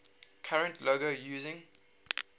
current logo using